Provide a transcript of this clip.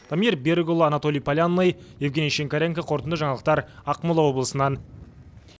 дамир берікұлы анатолий полянный евгений шинкаренко қорытынды жаңалықтар ақмола облысынан